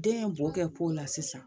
Den ye bɔ kɛ ko la sisan